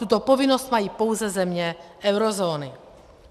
Tuto povinnost mají pouze země eurozóny.